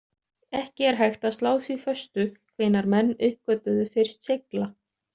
Ekki er hægt að slá því föstu hvenær menn uppgötvuðu fyrst segla.